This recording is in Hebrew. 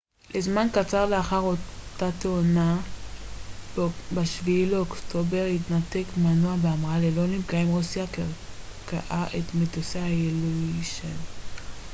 ב-7 באוקטובר התנתק מנוע בהמראה ללא נפגעים רוסיה קרקעה את מטוסי האיליושין il-76 לזמן קצר לאחר אותה תאונה